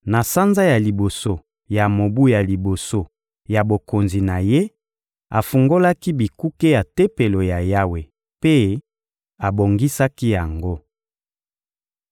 Na sanza ya liboso ya mobu ya liboso ya bokonzi na ye, afungolaki bikuke ya Tempelo ya Yawe mpe abongisaki yango.